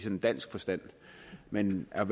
dansk forstand men at